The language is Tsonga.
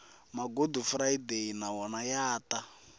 magudufurayideyi na wona ya ta